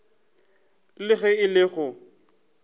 le ge e le go